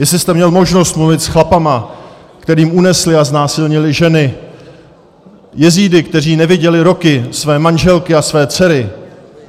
Jestli jste měl možnost mluvit s chlapama, kterým unesli a znásilnili ženy, jezídy, kteří neviděli roky své manželky a své dcery.